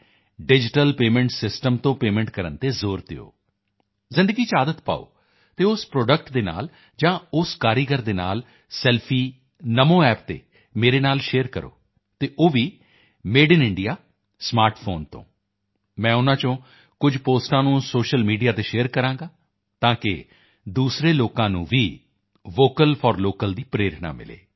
digital payment system ਜ਼ਰੀਏ payment ਕਰਨ ਤੇ ਜ਼ੋਰ ਦਿਓ ਜ਼ਿੰਦਗੀ ਚ ਆਦਤ ਪਾਓ ਅਤੇ ਉਸ ਪ੍ਰੋਡਕਟ ਦੇ ਨਾਲ ਜਾਂ ਉਸ ਕਾਰੀਗਰ ਦੇ ਨਾਲ ਸੈਲਫੀ ਨਮੋ ਐਪ ਤੇ ਮੇਰੇ ਨਾਲ ਸ਼ੇਅਰ ਕਰੋ ਅਤੇ ਉਹ ਵੀ made in India smart phone ਤੋਂ ਮੈਂ ਉਨ੍ਹਾਂ ਵਿੱਚੋਂ ਕੁਝ ਪੋਸਟਾਂ ਨੂੰ ਸੋਸ਼ਲ ਮੀਡੀਆ ਤੇ ਸ਼ੇਅਰ ਕਰਾਂਗਾ ਤਾਕਿ ਦੂਸਰੇ ਲੋਕਾਂ ਨੂੰ ਵੀ ਵੋਕਲ ਫੌਰ ਲੋਕਲ ਦੀ ਪ੍ਰੇਰਣਾ ਮਿਲੇ